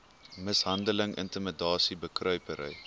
mishandeling intimidasie bekruipery